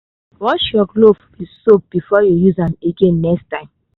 wash your glove with soap before you use am again next time